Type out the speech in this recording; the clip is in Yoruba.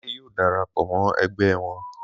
Adé yóò dara pọ̀ mọ́ ẹgbẹ́ wọn.